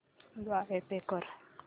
द्वारे पे कर